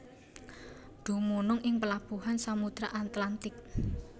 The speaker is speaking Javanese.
Dumunung ing pelabuhan Samudra Atlantik